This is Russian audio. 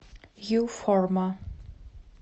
ю форма